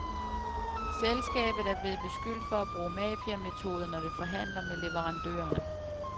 Selskabet er blevet beskyldt for at bruge mafiametoder, når det forhandler med leverandørerne.